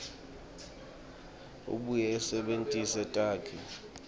abuye asebentise takhi